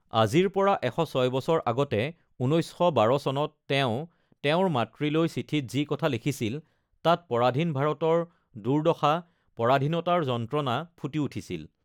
আজিৰ পৰা ১০৬ বছৰ আগতে ১৯১২ চনত তেওঁ তেওঁৰ মাতৃলৈ চিঠিত যি কথা লিখিছিল, তাত পৰাধীন ভাৰতৰ দুৰ্দশা, পৰাধীনতাৰ যন্ত্ৰণা ফুটি উঠিছিল।